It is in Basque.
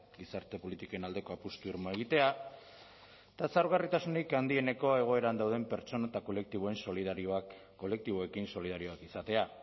gizarte politiken aldeko apustu irmoa egitea eta zaurgarritasunik handieneko egoeran dauden pertsona eta kolektiboekin solidarioak izatea